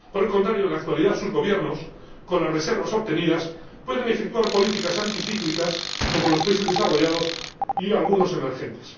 Por el contrario, en la actualidad, sus gobiernos, con las reservas obtenidas, pueden efectuar políticas anticíclicas como los países desarrollados y algunos emergentes.